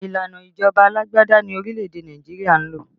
Ìlànà ìjọba alágbádá ni orílẹ̀ èdè Nàìjíríà ń lò